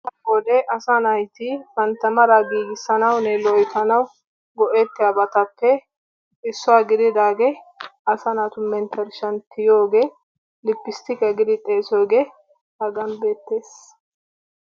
be'iyode asaa naati bantta meraa giigisanawunne loyttanawu go'etiyoobatuppe issuwaa gididaagee, asaa naatu mentershshan, tiyiyoge lipistiqiya giyoogee hagan beetees.